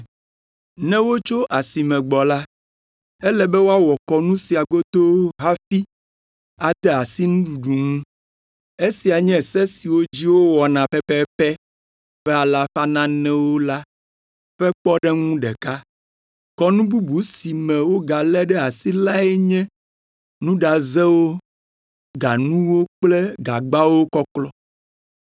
Ne wotso asi me gbɔ la, ele be woawɔ kɔnu sia godoo hafi ade asi nuɖuɖu ŋu. Esia nye se siwo dzi wowɔna pɛpɛpɛ ƒe alafa nanewo la ƒe kpɔɖeŋu ɖeka. Kɔnu bubu si me wogalé ɖe asi lae nye nuɖazewo, ganuwo kple gagbawo kɔklɔ.)